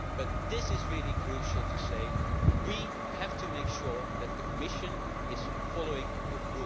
But it is really crucial to say this we have to make sure that the Commission is following the